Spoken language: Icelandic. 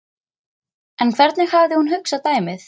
En hvernig hafði hún hugsað dæmið?